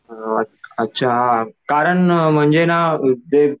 अ अच्छा कारण ना म्हणजे एक